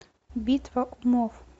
битва умов